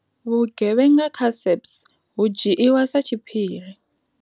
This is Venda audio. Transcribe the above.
Vhu gevhenga kha SAPS hu dzhiiwa sa tshiphiri.